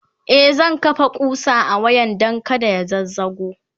e zan kafa ƙusa a wayan Dan kada ya zazzago